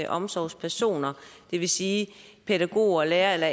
omsorgspersoner det vil sige pædagoger lærere